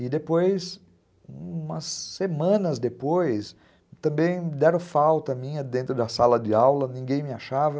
E depois, umas semanas depois, também deram falta minha dentro da sala de aula, ninguém me achava.